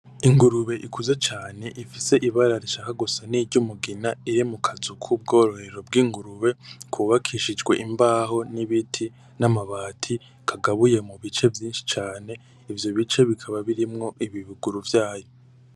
Ingurube ikuze cane ifise ibara ushaka gusa n'iryumugina iri mu mazi k'ubwororero bw'ingurube, kubakishijwe imbaho n'ibiti n'amabati, kagabuye mu bice vyinshi cane, ivyo bice bikaba birimwo ibibuguru vyayo.